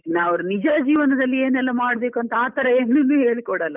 ಅವ್ರ್ ನಿಜ ಜೀವನದಲ್ಲಿ ಏನೆಲ್ಲಾ ಮಾಡಬೇಕು ಅಂತ ಆತರ ಏನೂನು ಹೇಳಿ ಕೊಡಲ್ಲ.